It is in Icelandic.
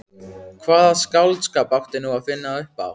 Hvaða skáldskap átti nú að finna upp á?